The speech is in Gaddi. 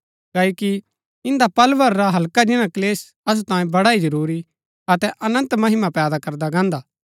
क्ओकि इन्दा पल भर रा हल्का जिन्‍ना क्‍लेश असु तांयें बड़ा ही जरूरी अतै अनन्त महिमा पैदा करदा गान्दा हा